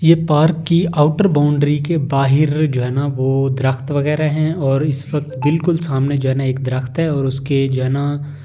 ये पार्क की outer boundary के बाहिर जो है ना वो दरख्त वगैरह हैं और इस वक्त बिल्कुल सामने जो है ना एक दरख्त है और उसके जो है ना--